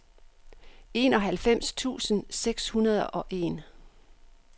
enoghalvfems tusind seks hundrede og en